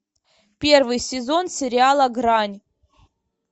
первый сезон сериала грань